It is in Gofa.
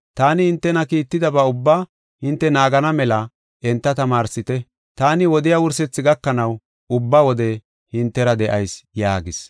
Taani hintena kiittidaba ubbaa enti naagana mela enta tamaarsite. Taani wodiya wursethaa gakanaw ubba wode hintera de7ayis” yaagis.